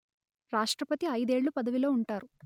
రాష్ట్రపతి ఐదేళ్ళు పదవిలో ఉంటారు